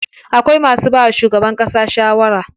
Akwai masu bawa shugaban ƙasa shawara.